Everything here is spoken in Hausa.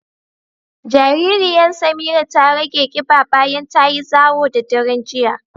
Jaririyan Samira ta rage ƙiɓa bayan tayi zawo da daren jiya.